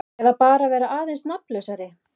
Eða bara vera aðeins nafnlausari.